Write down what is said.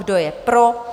Kdo je pro?